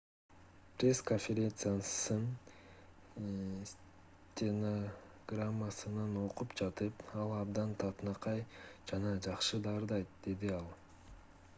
пресс-конференциянын стенограммасынан окуп жатып ал абдан татынакай жана жакшы да ырдайт - деди ал